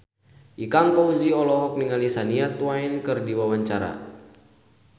Ikang Fawzi olohok ningali Shania Twain keur diwawancara